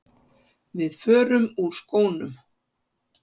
Við förum úr skónum.